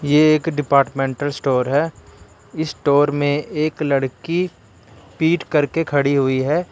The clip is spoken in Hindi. ये एक डिपार्टमेंटल स्टोर है इस स्टोर में एक लड़की पीठ करके खड़ी हुई है।